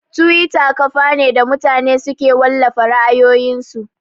Tiwita kafa ne da mutane suke wallafa ra'ayoyin su